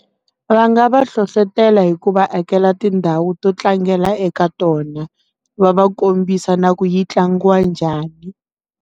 Va nga va hlohlotela hikuva hakela tindhawu to tlangela eka tona va va kombisa na ku yi tlangiwa njhani.